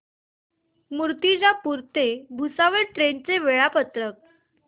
मूर्तिजापूर ते भुसावळ ट्रेन चे वेळापत्रक